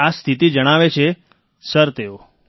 આ સ્થિતિ જણાવે છે સર તેઓ